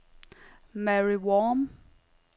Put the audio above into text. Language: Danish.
Mary Worm